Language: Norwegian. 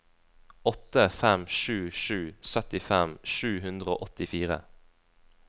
åtte fem sju sju syttifem sju hundre og åttifire